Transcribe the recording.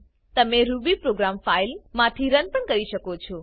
તમે Ruby program file માથી run પણ કરી શકો છો